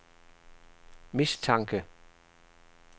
mistanke